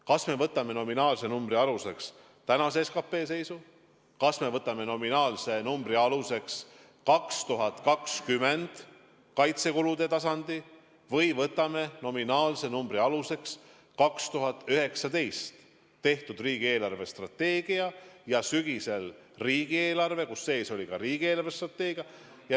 Kas me võtame nominaalse numbri aluseks tänase SKP seisu, kas me võtame nominaalse numbri aluseks 2020. aasta kaitsekulude tasandi või võtame nominaalse numbri aluseks aastal 2019 tehtud riigi eelarvestrateegia ja sügisel riigieelarve, kus sees oli ka riigi eelarvestrateegia.